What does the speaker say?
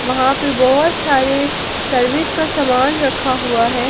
वहां पे बहोत सारे सर्विस का सामान रखा हुआ है।